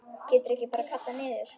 Geturðu ekki bara kallað niður?